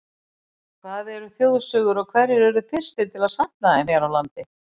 Hvað eru þjóðsögur og hverjir urðu fyrstir til að safna þeim hér á landi?